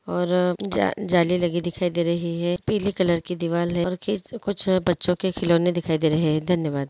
और जा-जान जाली लगी दिखाई दे रही हैं पिले कलर की दीवाल हैं कुछ बच्चो के खिलोने दिखाई दे रहे हैं।